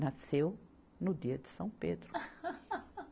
Nasceu no dia de São Pedro.